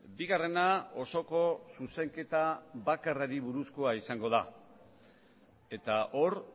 bigarrena osoko zuzenketa bakarrari buruzkoa izango da eta hor